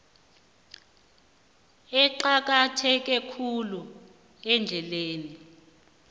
eqakatheke khulu ehlelweni